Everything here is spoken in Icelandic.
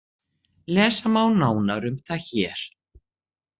Lesa má nánar um það hér.